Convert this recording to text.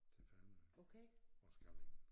Til Fanø og Skallingen